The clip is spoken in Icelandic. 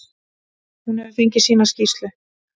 Hún hefur fengið sína skýrslu.